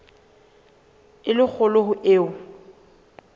e le kgolo ho eo